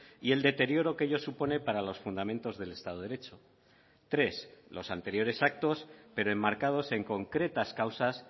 y el deterioro que ello supone para los fundamentos del estado de derecho tres los anteriores actos pero enmarcados en concretas causas